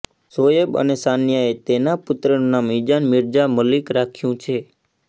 શોએબ અને સાનિયાએ તેના પુત્રનું નામ ઇજાન મિર્જા મલિક રાખ્યું છે